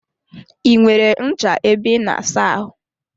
I nwere ncha ebe I na asa ahụ?